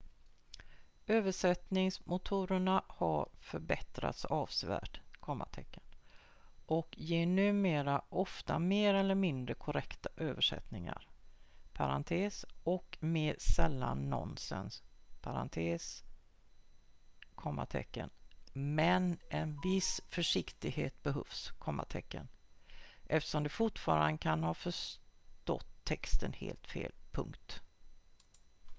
översättningsmotorerna har förbättrats avsevärt och ger numera ofta mer eller mindre korrekta översättningar och mer sällan nonsens men en viss försiktighet behövs eftersom de fortfarande kan ha förstått texten helt fel